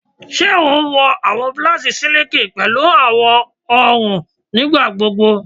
Ṣe o wọ awọn blouses siliki pẹlu awọn ọrun ọrun nigbagbogbo?